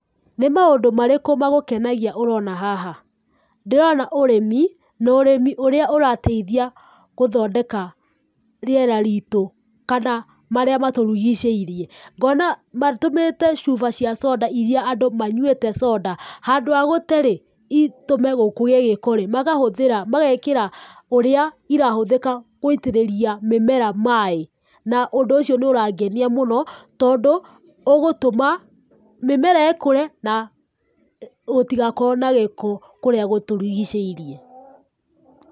Nĩ maũndũ marĩkũ magũgũkenia ũroona haha? Ndĩrona ĩrĩmi na ũrĩmi ũrĩa ũrateithia gũthondeka rĩera riitu kana marĩa matũrigicĩirie. Ngona matũmĩrĩte cuba cia soda iria andũ manyuĩte soda. Handũ ha gũte rĩ, itũme kugĩe gĩko rĩ, magahũthĩra, mageekĩra ũrĩa irahũthĩka kũitĩrĩria mĩmera maaĩ, na ũndũ ũcio nĩ ũrangenia mũno tondũ ũgũtũma mĩmera ĩkũre na gũtigakorwo na gĩko kũrĩa gũtũrigicĩirie.